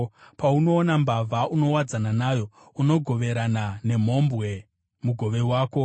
Paunoona mbavha, unowadzana nayo; unogoverana nemhombwe mugove wako.